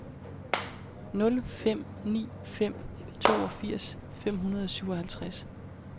nul fem ni fem toogfirs fem hundrede og syvoghalvtreds